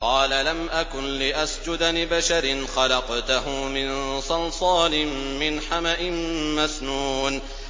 قَالَ لَمْ أَكُن لِّأَسْجُدَ لِبَشَرٍ خَلَقْتَهُ مِن صَلْصَالٍ مِّنْ حَمَإٍ مَّسْنُونٍ